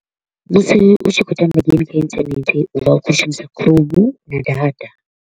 Musi u tshi kho u tamba game kha internet u vha u khou shumisa Chrome na data.